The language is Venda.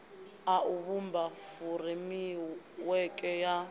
a u vhumba furemiweke ya